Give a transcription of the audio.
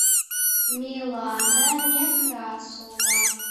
милана некрасова